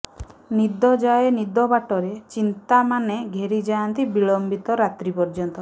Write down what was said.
ନିଦ ଯାଏ ନିଦ ବାଟରେ ଚିନ୍ତାମାନେ ଘେରି ଯାଆନ୍ତି ବିଳମ୍ବିତ ରାତ୍ରୀ ପର୍ଯ୍ୟନ୍ତ